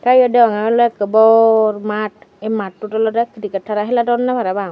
tey eyot dagong ola bor matt eh mattot oloda kriket heladoney parapang.